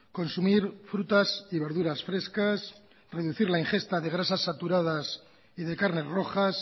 consumir frutas y verduras frescas reducir la ingesta de grasas saturadas y de carnes rojas